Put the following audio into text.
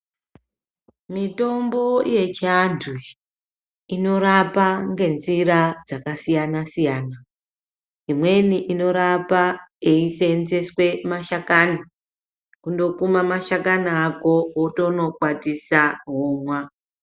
Mitombo yechianthu inorapa ngenzira dzakasiyana-siyana imweni inorapa yeiseenzeswe mashakani, kundokuma mashakani ako wotonokwatisa womwa.